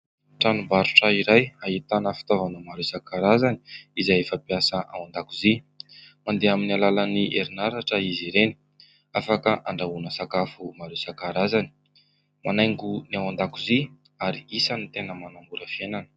Tranombarotra iray ahitana fitaovana maro isan-karazany izay fampiasa ao an-dakozia. Mandeha amin'ny alalan'ny herinaratra izy ireny ; afaka handrahoana sakafo maro isan-karazany, manaingo ny ao an-dakozia ary isan'ny tena manamora fiainana.